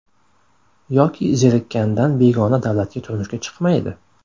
Yoki zerikkanidan begona davlatga turmushga chiqmaydi.